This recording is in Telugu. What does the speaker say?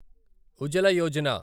ఉజల యోజన